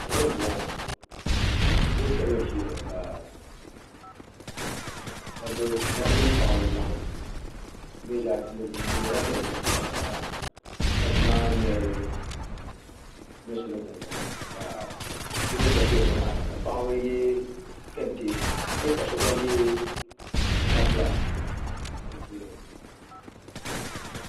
Salo n ʒiya ŋo dabba mini paɣaba n laɣam bi mii zaa nyɛla diɛm diɛmdiba ka dabba maa ŋmɛri lunsi ni gungona ka so mii gba ʒɛya ŋmaara ka paɣaba yɛ kɛntɛ n nyɛ ka so gba yɛ gaana fulak di puuni